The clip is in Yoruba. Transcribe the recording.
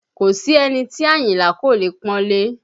Kò sí ẹni tí Àyìnlá kò leè pọ́nlé